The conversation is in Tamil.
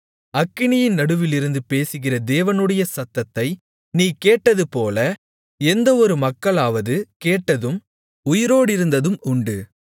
அக்கினியின் நடுவிலிருந்து பேசுகிற தேவனுடைய சத்தத்தை நீ கேட்டது போல எந்தவொரு மக்களாவது கேட்டதும் உயிரோடிருந்ததும் உண்டு